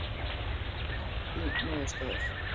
Langt í niðurstöður